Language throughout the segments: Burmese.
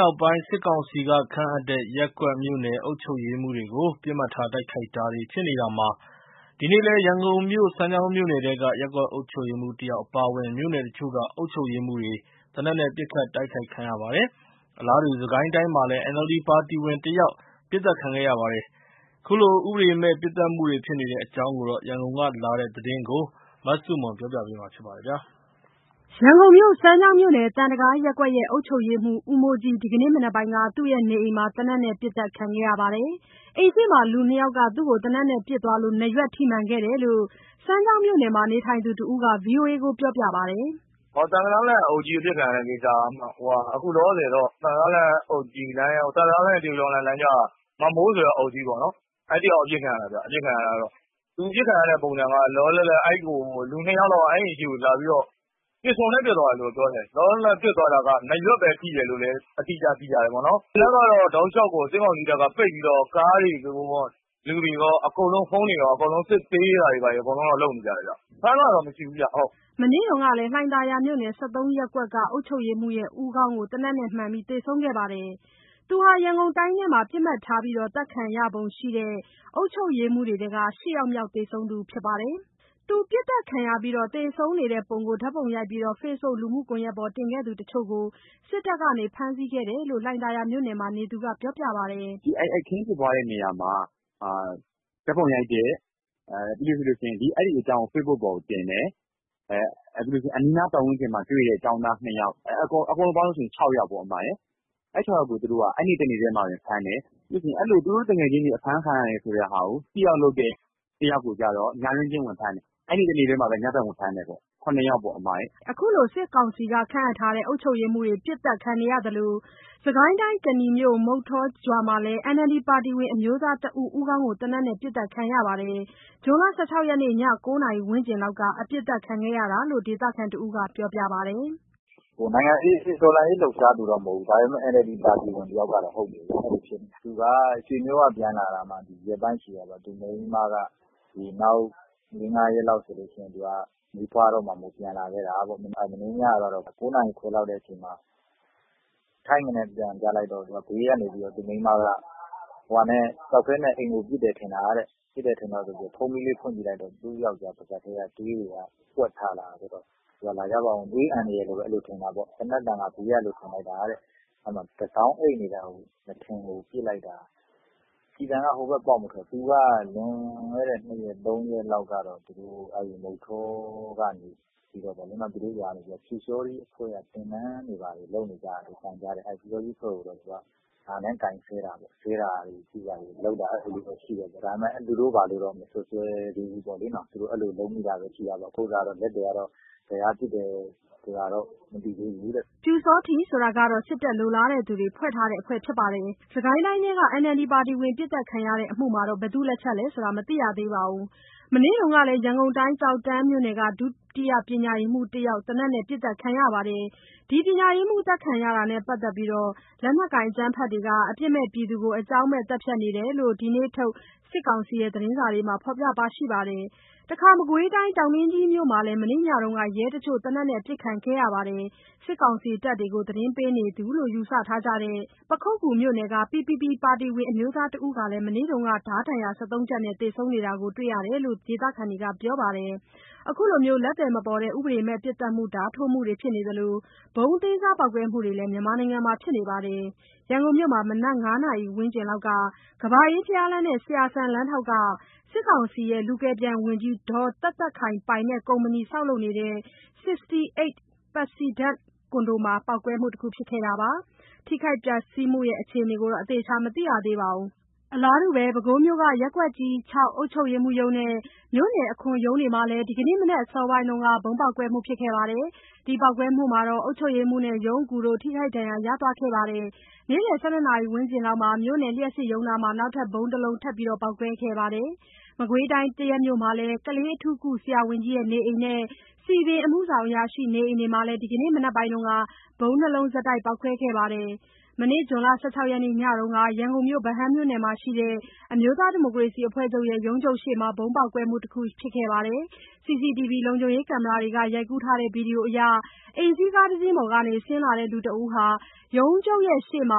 နောက်ပိုင်း စစ်ကောင်စီကခန့်အပ်တဲ့ ရပ်ကွက်၊ မြို့နယ် အုပ်ချုပ်ရေးမှူးတွေကို ပစ်မှတ်ထားတိုက်ခိုက်တာတွေ ဖြစ်နေတာမှာ ဒီနေ့လည်း ရန်ကုန်မြို့ စမ်းချောင်းမြို့နယ်ထဲက ရပ်ကွက်အုပ်ချုပ်ရေးမှူးတယောက်အပါအဝင် မြို့နယ်တချို့က အုပ်ချုပ်ရေးမှူးတွေ သေနတ်နဲ့ ပစ်ခတ် တိုက်ခိုက်ခံရပါတယ်။ အလားတူ စစ်ကိုင်းတိုင်းမှာ NLD ပါတီဝင်တယောက် ပစ်သတ်ခံရပါတယ်။ ခုလို ဥပဒေမဲ့ပစ်သတ်မှုတွေ ဖြစ်နေတဲ့အကြောင်း ရန်ကုန်ကလာတဲ့သတင်းကို မဆုမွန်ကပြောပြပါမယ်။ ရန်ကုန်မြို့ စမ်းချောင်းမြို့နယ် သံတံတားရပ်ကွက်ရဲ့ အုပ်ချုပ်ရေးမှုး ဦးမိုးကြီး ဒီကနေ့ မနက်ပိုင်းက သူ့ရဲ့ နေအိမ်မှာ သေနတ်နဲ့ ပစ်ခတ်ခံရပါတယ်။ အိမ်ရှေ့မှာ လူ နှစ်ယာက်က သေနတ်နဲ့ပစ်သွားလို့ နားရွက်ထိမှန်ခဲ့တယ်လို့ စမ်းချောင်းမြို့နယ်မှာ နေထိုင်သူတစ်ဦးက VOA ကို ပြောပါတယ်။ “သံတံတားလမ်းက အုပ်ကြီး အပစ်ခံရတဲ့ကိစ္စက အခုလောလောဆယ်တော့ သံတံတားလမ်းနဲ့ တရုတ်ကျောင်းလမ်းကြားက မောင်မိုးဆိုတဲ့ အုပ်ကြီးပေါ့နှော်။ အဲ့တစ်ယောက်ပစ်ခံရတာဗျ။ သူအပစ်ခံရတဲ့ပုံစံက လောလောလတ်လတ် လူ နှစ်ယောက်လောက်က သူ့အိမ်ရှေ့ကိုလာပြီးတော့ ပစ္စတိုနဲ့ ပစ်သွားတာလို့ပြောတယ်။ လောလောလတ်လတ် ပစ်သွားတာက နားရွက်ပဲထိတယ်လို့လည်း အတိအကျသိရတယ်ပေါ့နော်။ အစစ်အဆေးကတော့ တောက်လျှောက်ကို စစ်ကောင်စီတပ်က လမ်းတွေပိတ်ပြီးကို ကားတွေရော၊ လူတွေရော၊ ဖုန်းတွေရော စစ်ဆေးတာတွေ အကုန်လုပ်နေကြတယ်ဗျ။ ဖမ်းသွားတာတော့မရှိဘူးဗျ။” မနေ့တုန်းကလည်း လှိုင်သာယာမြို့နယ် ၁၃ ရပ်ကွက် အုပ်ချုပ်ရေးမှူး ဦးခေါင်းမှာ သေနတ်မှန် သေဆုံးခဲ့ပါတယ်။ သူဟာ ရန်ကုန်တိုင်းထဲမှာ ပစ်မှတ်ထားပြီးသတ်ခံရပုံရှိတဲ့ အုပ်ချုပ်ရေးမှူးတွေထဲက ၈ ယောက်မြောက် သေဆုံးသူဖြစ်ပါတယ်။ သူပစ်သတ်ခံရပြီး သေဆုံးနေတဲ့ပုံကို ဓာတ်ပုံရိုက်ပြီး Facebook လူမှုကွန်ယက်ပေါ် တင်ခဲ့သူတချို့ကို စစ်တပ်က ဖမ်းဆီးခဲ့တယ်လို့ လှိုင်သာယာမြို့နယ်ထဲမှာ နေသူက ပြောပြပါတယ်။ “အဲ့ဒီ အခင်းဖြစ်ပွားတဲ့နေရာမှာ ဓာတ်ပုံရိုက်ပြီးရင် အဲ့အကြောင်းကို Facebook ပေါ်တင်တဲ့၊ ပြီးရင် အဲ့အနီးအနားမှာတွေ့တဲ့ ကျောင်းသား ၂ ယောက် အကုန်ပေါင်းရင် ၆ ယောက်ပေါ့၊ အဲ့ ၆ ယောက်ကို သူတို့က အဲ့နေ့တနေ့ထဲမှာတင် ဖမ်းတယ်။ ပြီးရင် သူတို့ သူငယ်ချင်းတွေ ဖမ်းခံရပါတယ်ဆိုတာကို Speak Out လုပ်တဲ့ တယောက်ကိုကျတော့ ညတွင်းချင်းဝင်ဖမ်းတယ်။ အဲ့နေ့တနေ့တည်းမှာတင် ညဖက် ဝင်ဖမ်းတယ်ပေါ့၊ စုစုပေါင်း ၇ ယောက်ပေါ့။” ခုလို စစ်ကောင်စီခန့်အပ်ထားတဲ့ အုပ်ချုပ်ရေးမှူးတွေ ပစ်သတ်ခံနေရသလို စစ်ကိုင်းတိုင်း ကနီမြို့က မုဌောရွာမှာလည်း NLD ပါတီဝင် အမျိုးသားတဦး ဦးခေါင်းကို သေနတ်နဲ့ ပစ်သတ်ခံရပါတယ်။ ဇွန်လ ၁၆ ရက် ည ၉ နာရီဝန်းကျင်လောက်က အပစ်ခံရတာလို့ ဒေသခံတဦးက ပြောပြပါတယ်။ “တော်လှန်ရေးလှုပ်ရှားသူတော့ မဟုတ်ဘူး၊ NLD ပါတီဝင်တော့ ဟုတ်တယ်ဗျ။ သူက ရွေမြို့က ပြန်လာတာ ရက်ပိုင်းပဲရှိသေးတယ်။ သူ့မိန်းမက နောက် ၄ ၊၅ ရက်လောက်ဆို မီးဖွားမှာမို့ ပြန်လာခဲ့တာ။ မနေ့ညက ၉ နာရီခွဲလောက်အချိန်မှာ ထိန်းခနဲ အသံကြားလိုက်တော့ ဘေးကနေ သူ့မိန်းမက ကျောက်ခဲနဲ့ အိမ်ကို ပစ်တယ်ထင်တာတဲ့ ဖုန်းမီးလေး ဖွင့်ကြည့်လိုက်တော့ သူ့ယောက်ျား ပါးစပ်ထဲကနေ သွေးတွေ ပွက်ထွက်လာတယ်တဲ့။ သွေးအန်တယ်လို့ပဲထင်တာပေါ့၊ သေနတ်သံက ဘေးကလို့ပဲထင်လိုက်တာတဲ့။ အဲ့မှာ တစောင်းအိပ်နေတာကို နားထင်ကို ပစ်လိုက်တာ။ ကျည်ဆန်က ဟိုဘက် ပေါက်မထွက်ဘူး။ သူက လွန်ခဲ့တဲ့ တရက် နှစ်ရက်လောက်တုန်းက သူတို့ရွာမှာ ပျူစောထီးအဖွဲ့က သင်တန်းတွေဘာတွေ လုပ်မယ်ကြားတော့ ငါနဲ့ကိုင်ပြီး ဆဲတာတွေ ပြောတာတွေတော့ ရှိခဲ့တာပေါ့။ ဒါပေမယ့် သူတို့ပါတယ်လို့တော့ မစွပ်စွဲသေးဘူးပေါ့လေနော်။ သူက အဲ့လို လုပ်မိတာပဲရှိတာ သက်သေကတော့ ဘယ်က ပစ်တယ် ဘယ်လိုဆိုတော့မျိုးတော့ မသိသေးဘူး။” ပျူစောထီးဆိုတာကတော့ စစ်တပ်လိုလားသူတွေ ဖွဲ့ထားတဲ့ အဖွဲ့ဖြစ်ပါတယ်။ စစ်ကိုင်းတိုင်းထဲက NLD ပါတီဝင် ပစ်သတ်ခံရမှု ဘယ်သူ့လက်ချက်လဲဆိုတာ မသိရသေးပါဘူး။ မနေ့တုန်းကလည်း ရန်ကုန်တိုင်း ကျောက်တန်းမြို့နယ်က ဒုတိယပညာရေးမှူးတယောက် သေနတ်နဲ့ ပစ်သတ်ခံရပါတယ်။ ပညာရေးမှူး အသတ်ခံရတာနဲ့ပတ်သက်လို့ လက်နက်ကိုင် အကြမ်းဖက်သူတွေက အပြစ်မဲ့ပြည်သူတွေကို အကြောင်းမဲ့ သတ်ဖြတ်နေတာဖြစ်တယ်လို့ ဒီနေ့ထုတ် စစ်ကောင်စီရဲ့ သတင်းစာတွေမှာ ဖော်ပြပါတယ်။ တခါ မကွေးတိုင်း တောင်တွင်းကြီးမြို့မှာလည်း မနေ့ညက ရဲတချို့ သေနတ်နဲ့ ပစ်ခံရပါတယ်။ စစ်ကောင်စီတပ်တွေကို သတင်းပေးတဲ့သူအဖြစ် ယူဆထားကြတဲ့ ပခုက္ကူမြို့က PPP ပါတီဝင် အမျိုးသား တဦးဟာလည်း မနေ့က ဓားဒဏ်ရာ ၁၃ ချက်နဲ့ သေဆုံးနေတာကို တွေ့ရတယ်လို့ ဒေသခံတွေက ပြောပါတယ်။ ခုလို လက်သည်မပေါ်တဲ့ ဥပဒေမဲ့ ပစ်သတ်မှုတွေ ဓါးထိုးမှုတွေ ဖြစ်နေသလို ဗုံးအသေးစား ပေါက်ကွဲမှုတွေလည်း မြန်မာနိုင်ငံမှာဖြစ်နေပါတယ်။ ရန်ကုန်မြို့မှာ မနက် ၅ နာရီအချိန်လောက်က ကမ္ဘာအေးဘုရားလမ်းနဲ့ ဆရာစံလမ်းထောင့်က စစ်ကောင်စီရဲ့ လူကယ်ပြန် ဝန်ကြီး ဒေါ်သက်သက်ခိုင်ပိုင်ကုမ္ပဏီ ဆောက်လုပ်နေတဲ့ 68 Resident ကွန်ဒိုမှာ ပေါက်ကွဲမှုတခု ဖြစ်ခဲ့ပါတယ်။ ထိခိုက်ပျက်စီးမှု အခြေအနေ အသေအချာ မသိရသေးပါဘူး။ ပဲခူးမြို့က ရပ်ကွက်ကြီး ၆ အုပ်ချုပ်ရေးမှုးရုံးနဲ့ မြို့နယ် အခွန်ရုံးတို့မှာလည်း ဒီနေ့ မနက် အစောပိုင်းက ဗုံးပေါက်ကွဲမှုဖြစ်ခဲ့ပြီး အုပ်ချုပ်ရေးမှူးနဲ့ ရုံးအကူတို့ ထိခိုက်ဒဏ်ရာ ရသွားခဲ့ပါတယ်။ နေ့လည် ၁၂ နာရီဝန်းကျင်မှာ မြို့နယ် လျှပ်စစ်ရုံးနားမှာ နောက်ထပ် ဗုံးတစ်လုံး ထပ်ပေါက်ကွဲခဲ့ပါတယ်။ မကွေးတိုင်း သရက်မြို့က ကလေးအထူးကု ဆရာဝန်ကြီးနေအိမ်နဲ့ စည်ပင်အမှုဆောင်အရာရှိနေအိမ်တွေမှာလည်း ဒီကနေ့ မနက်ပိုင်းက ဗုံး ၂ လုံး ဆက်တိုက် ပေါက်ကွဲခဲ့ပါတယ်။ ဇွန် ၁၆ ရက်ညကတော့ ရန်ကုန် ဗဟန်းမြို့နယ်မှာရှိတဲ့ အမျိုးသားဒီမိုကရေစီအဖွဲ့ချုပ်ရဲ့ ရုံးချုပ်ရှေ့မှာ ဗုံးပေါက်ကွဲမှုတခုဖြစ်ခဲ့ပါတယ်။ CCTV လုံခြုံရေးကင်မရာတွေက ရိုက်ကူးထားတဲ့ ဗီဒီယိုမှာတော့ အိမ်စီးကားတစီးပေါ်ကနေ ဆင်းလာတဲ့လူတစ်ဦးက ရုံးချုပ်ရှေ့မှာ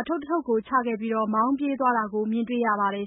အထုတ်တထုတ်ကို ချခဲ့ပြီး မောင်းပြေးသွားတာကို မြင်တွေ့ရပါတယ်